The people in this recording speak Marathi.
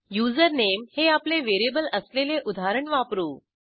युझरनेम हे आपले व्हेरिएबल असलेले उदाहरण वापरू